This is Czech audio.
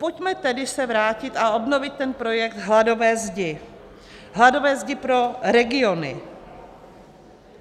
Pojďme se tedy vrátit o obnovit ten projekt hladové zdi, hladové zdi pro regiony.